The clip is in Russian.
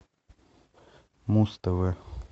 муз тв